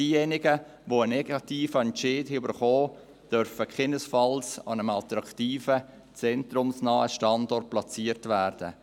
Diejenigen aber, die einen negativen Entscheid erhalten haben, dürfen keinesfalls an einem attraktiven, zentrumsnahen Standort platziert werden.